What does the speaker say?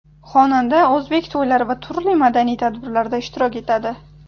Xonanda o‘zbek to‘ylari va turli madaniy tadbirlarda ishtirok etadi.